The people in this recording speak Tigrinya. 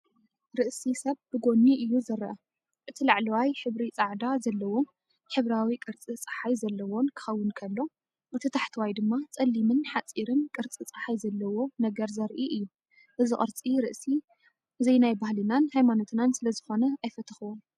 ርእሲ ሰብ ብጎኒ እዩ ዝረአ። እቲ ላዕለዋይ ሕብሪ ጸዓዳ ዘለዎን ሕብራዊ ቅርጺ ጸሓይ ዘለዎን ክኸውን ከሎ፡ እቲ ታሕተዋይ ድማ ጸሊምን ሓጺርን ቅርጺ ጸሓይ ዘለዎ ነገር ዘርኢ እዩ። እዚ ቅርጺ ርእሲ ዘይናይባህልናን ሃይማኖትናን ስለዝኾነ ኣይፈተኽዎን፡፡